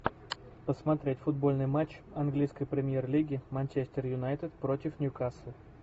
посмотреть футбольный матч английской премьер лиги манчестер юнайтед против ньюкасл